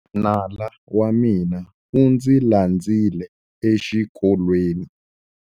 Nala wa mina u ndzi landzile exikolweni.